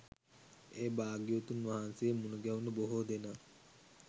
ඒ භාග්‍යවතුන් වහන්සේ මුණගැහුණු බොහෝ දෙනා